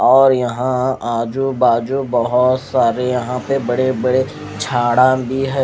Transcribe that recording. और यहाँ आजू बाजू बोहोत सारे यहाँ पे बड़े बड़े झाडा भी है।